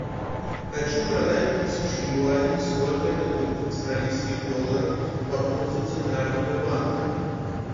хочу продать тысячу юаней сколько это будет в австралийских долларах по курсу центрального банка